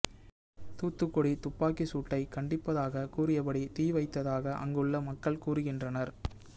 தூத்துக்குடி துப்பாக்கி சூட்டை கண்டிப்பதாக கூறியபடி தீ வைத்ததாக அங்குள்ள மக்கள் கூறுகின்றனர்